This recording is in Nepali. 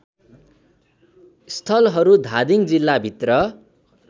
स्थलहरू धादिङ जिल्लाभित्र